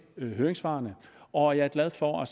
høringssvarene og jeg er glad for